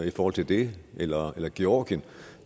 i forhold til det eller eller georgien